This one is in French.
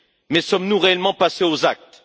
Mais sommes nous réellement passés aux actes?